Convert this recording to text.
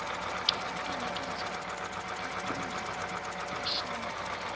enikezwa umndeni oshonelwe